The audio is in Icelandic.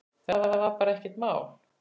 Þetta var bara ekkert mál.